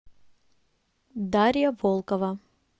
дарья волкова